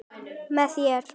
Með þér.